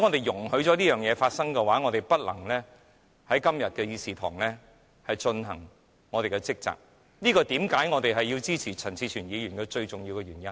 如果我們今天容許此事發生，即沒有在議事堂履行我們的職責，這是為何我們要支持陳志全議員的最重要原因。